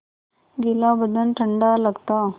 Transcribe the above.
गीला बदन ठंडा लगता